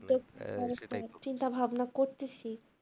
চিন্তাভাবনা করতেছি।